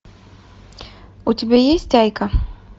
у тебя есть айка